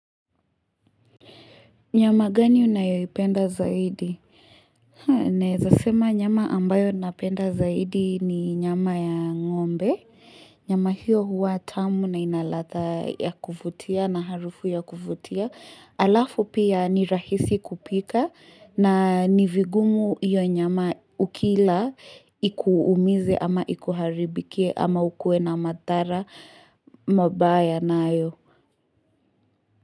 Nyama gani unayoipenda zaidi? Naeza sema nyama ambayo napenda zaidi ni nyama ya ngombe. Nyama hiyo huwa tamu na ina ladha ya kuvutia na harufu ya kuvutia. Halafu pia ni rahisi kupika na ni vigumu hiyo nyama ukila ikuumize ama ikuharibikie ama ukue na madhara mabaya nayo.